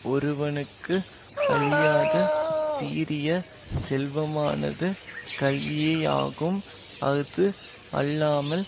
ஒருவனுக்கு அழியாத சீரிய செல்வமானது கல்வியேயாகும் அது அல்லாமல்